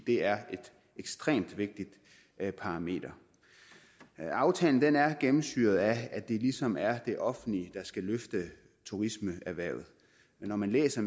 det er et ekstremt vigtigt parameter aftalen er gennemsyret af at det ligesom er det offentlige der skal løfte turismeerhvervet når man læser